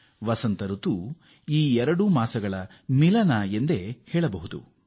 ವಸಂತ ಋತು ಈ ಎರಡು ಮಾಸಗಳ ಸಂಯೋಗ ಎಂದೇ ಹೇಳಬಹುದು